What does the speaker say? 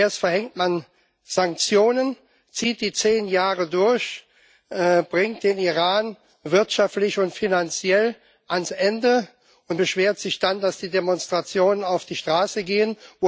Erst verhängt man Sanktionen, zieht die zehn Jahre durch, bringt den Iran wirtschaftlich und finanziell ans Ende und beschwert sich dann, dass die Demonstranten auf die Straße gehen.